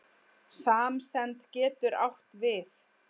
Samsemd getur átt við